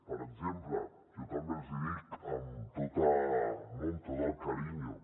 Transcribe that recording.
per exemple jo també els hi dic amb no tot el carinyo